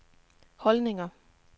holdninger